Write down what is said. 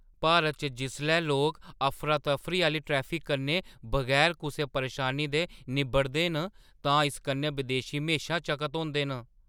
भारत च जिसलै लोक अफरा-तफरी आह्‌ली ट्रैफिक कन्नै बगैर कुसै परेशानी दे निब्बड़दे न तां इस कन्नै विदेशी म्हेशा चकत होंदे न ।